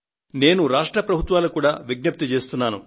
నేను రాష్ట్ర ప్రభుత్వాలకు కూడా విజ్ఞప్తి చేస్తున్నాను